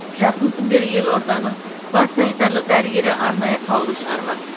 жақын күндері елорданың бас санитарлық дәрігері арнайы қаулы шығармақ